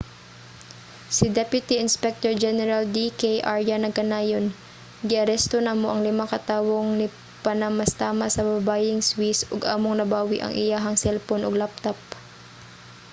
si deputy inspector general d k arya nagkanayon giaresto namo ang lima ka tawong nipanamastamas sa babayeng swiss ug among nabawi ang iyahang selpon ug laptop